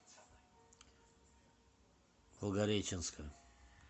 волгореченска